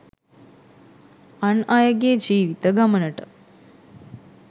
අන් අයගේ ජීවිත ගමනට